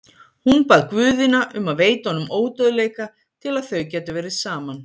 Hún bað guðina um að veita honum ódauðleika til að þau gætu verið saman.